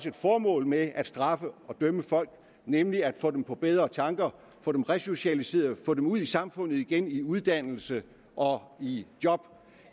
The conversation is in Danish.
et formål med at straffe og dømme folk nemlig at få dem på bedre tanker få dem resocialiseret og få dem ud i samfundet igen i uddannelse og i job